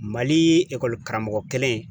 Mali karamɔgɔ kelen